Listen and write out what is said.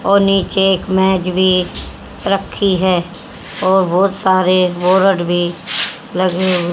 और नीचे एक मेज भी रखी है और बहुत सारे बोर्ड भी लगे हुए--